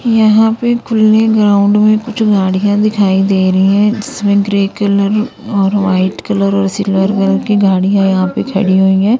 White पे खुल्ले ground में कुछ गाड़ियां दिखाई दे रही है जिसमें ग्रे कलर और वाइट कलर और सिल्वर कलर की गाड़ियां यहां पे खड़ी हुई है।